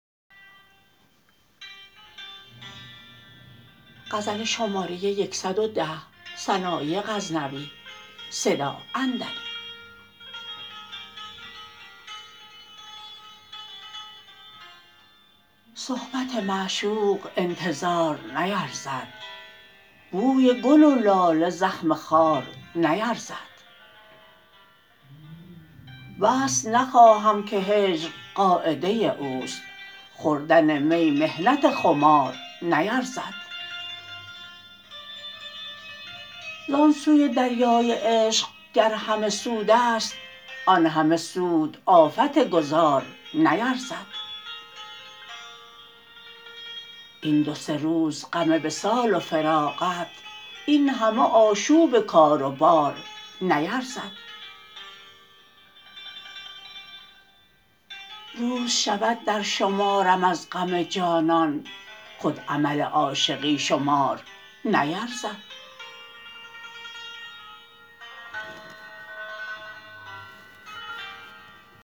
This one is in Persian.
صحبت معشوق انتظار نیرزد بوی گل و لاله زخم خار نیرزد وصل نخواهم که هجر قاعده اوست خوردن می محنت خمار نیرزد ز آن سوی دریای عشق گر همه سودست آن همه سود آفت گذار نیرزد این دو سه روز غم وصال و فراقت این همه آشوب کار و بار نیرزد روز شود در شمارم از غم جانان خود عمل عاشقی شمار نیرزد